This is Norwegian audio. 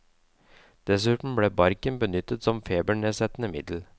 Dessuten ble barken benyttet som febernedsettende middel.